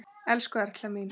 Elsku Erla mín.